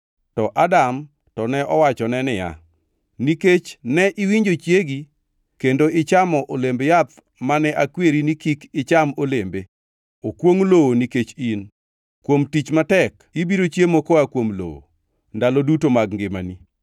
To Adam to ne owachone niya, “Nikech ne iwinjo chiegi kendo ichamo olemb yath mane akweri ni, ‘Kik icham olembe,’ “Okwongʼ lowo nikech in, kuom tich matek, ibiro chiemo koa kuom lowo, ndalo duto mag ngimani.